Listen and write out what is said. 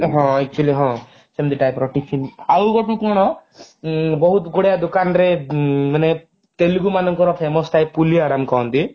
ହଁ actually ହଁ ସେମିତି type ର tiffin ଆଉ ଗୋଟେ କଣ ବହୁତ ଗୁଡା ଦୁକାନରେ ମାନେ ତେଲୁଗୁ ମାନଙ୍କର famous ଥାଏ ପୁଲିଆରମ କହନ୍ତି